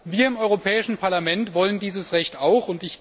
Wir im Europäischen Parlament wollen dieses Recht auch!